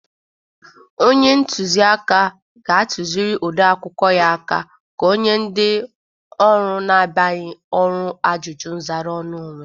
Onye ntụzị aka ga-atụzịrị ode akwụkwọ ya aka ka onye ndị ọrụ na-abịaghị ọrụ ajụjụ nzara ọnụ onwe.